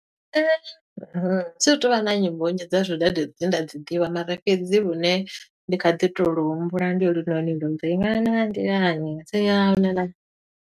Thi tu vha na nnyimbo nnzhi dza zwidade dzine nda dzi ḓivha, mara fhedzi lune ndi kha ḓi to lu humbula ndi holunoni lwo uri ṅwana a nḓilani .